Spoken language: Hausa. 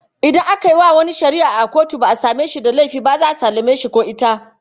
Idan aka yi wa wani shari’a ba a same shi da laifi ba, za a sallame shi ko ita.